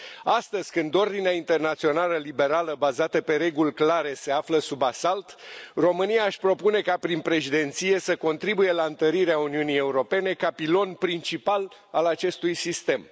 Astăzi, când ordinea internațională liberală bazată pe reguli clare se află sub asalt, România își propune ca, prin președinție, să contribuie la întărirea Uniunii Europene, ca pilon principal al acestui sistem.